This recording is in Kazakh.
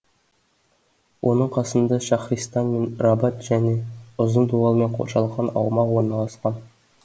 оның қасында шахристан мен рабад және ұзын дуалмен қоршалған аумақ орналасқан